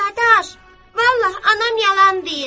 Dadaş, vallah anam yalan deyir.